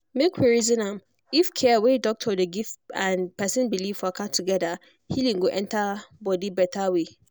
some family dey like family dey like put god and their tradition first before dem allow anything touch their person for hospital.